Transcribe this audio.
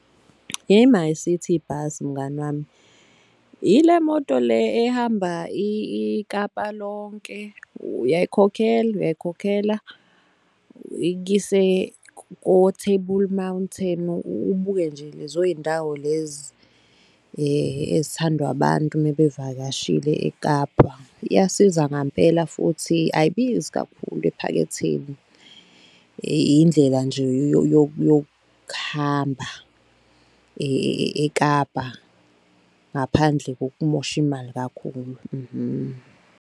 I-MyCiti bus mngani wami, ile moto le ehamba iKapa lonke uyayikhokhela, uyayikhokhela ikuyise ko-Table Mountain, ubuke nje lezo y'ndawo lezi ezithandwa abantu mebevakashile eKapa. Iyasiza ngampela futhi ayibizi kakhulu ephaketheni, indlela nje yokuhamba eKapa ngaphandle kokumosha imali kakhulu .